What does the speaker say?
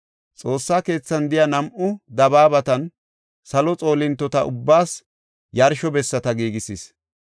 Xoossa keethan de7iya nam7u dabaabatan salo xoolintota ubbaas yarsho bessata giigisis.